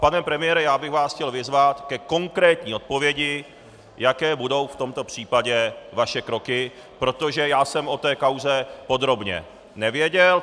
Pane premiére, já bych vás chtěl vyzvat ke konkrétní odpovědi, jaké budou v tomto případě vaše kroky, protože já jsem o té kauze podrobně nevěděl.